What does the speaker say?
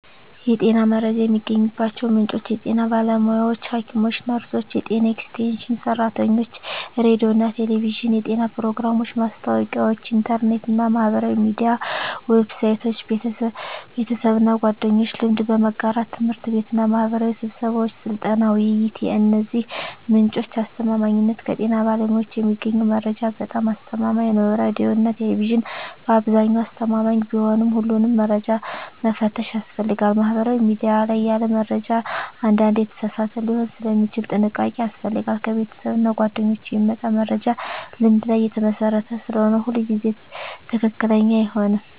የጤና መረጃ የሚገኝባቸው ምንጮች የጤና ባለሙያዎች (ሐኪሞች፣ ነርሶች፣ የጤና ኤክስቴንሽን ሰራተኞች) ሬዲዮና ቴሌቪዥን (የጤና ፕሮግራሞች፣ ማስታወቂያዎች) ኢንተርኔት እና ማህበራዊ ሚዲያ ዌብሳይቶች) ቤተሰብና ጓደኞች (ልምድ በመጋራት) ት/ቤትና ማህበራዊ ስብሰባዎች (ስልጠና፣ ውይይት) የእነዚህ ምንጮች አስተማማኝነት ከጤና ባለሙያዎች የሚገኘው መረጃ በጣም አስተማማኝ ነው ሬዲዮና ቴሌቪዥን በአብዛኛው አስተማማኝ ቢሆንም ሁሉንም መረጃ መፈተሽ ያስፈልጋል ማህበራዊ ሚዲያ ላይ ያለ መረጃ አንዳንዴ የተሳሳተ ሊሆን ስለሚችል ጥንቃቄ ያስፈልጋል ከቤተሰብና ጓደኞች የሚመጣ መረጃ ልምድ ላይ የተመሰረተ ስለሆነ ሁሉ ጊዜ ትክክለኛ አይሆንም